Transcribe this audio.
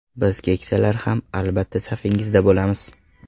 Biz keksalar ham, albatta, safingizda bo‘lamiz.